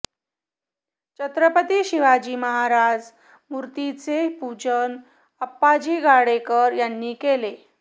छत्रपती शिवाजी महाराज मूर्तीचे पूजन आप्पाजी गाडेकर यांनी केले